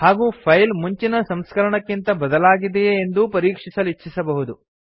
ಹಾಗೂ ಫೈಲ್ ಮುಂಚಿನ ಸಂಸ್ಕರಣಕ್ಕಿಂತ ಬದಲಾಗಿದೆಯೇ ಎಂದು ಪರೀಕ್ಷಿಸಲಿಚ್ಛಿಸಬಹುದು